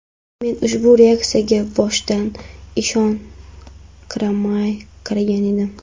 Men ushbu aksiyaga boshida ishonqiramay qaragan edim.